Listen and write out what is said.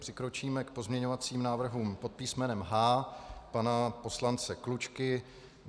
Přikročíme k pozměňovacím návrhům pod písmenem H pana poslance Klučky.